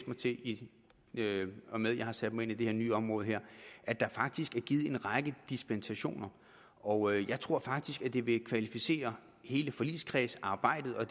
mig til i og med at jeg har sat mig ind i det her nye område at der faktisk er givet en række dispensationer og jeg tror faktisk det vil kvalificere hele forligskredsarbejdet og